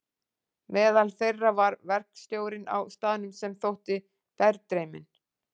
Meðal þeirra var verkstjórinn á staðnum sem þótti berdreyminn.